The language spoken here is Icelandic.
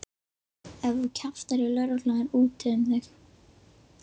Ef þú kjaftar í lögregluna er úti um þig.